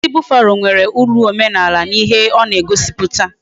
Osisi buffalo nwere uru omenaala na ihe ona egosiputa